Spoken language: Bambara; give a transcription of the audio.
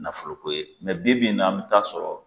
Nafoloko ye mɛ bi bi in na an be t'a sɔrɔ